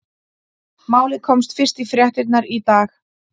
Málið komst fyrst í fréttirnar í dag.